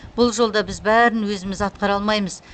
бұл жолда біз бәрін өзіміз атқара алмаймыз